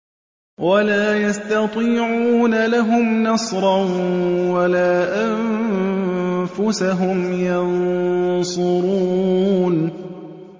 وَلَا يَسْتَطِيعُونَ لَهُمْ نَصْرًا وَلَا أَنفُسَهُمْ يَنصُرُونَ